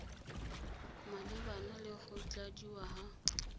malebana le go tladiwa ga